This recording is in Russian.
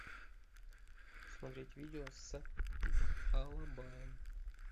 смотреть видео с алабаем